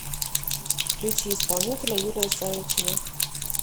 включи исполнителя юлия савичева